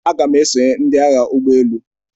Aga m esonye ndị Agha ụgbọ elu.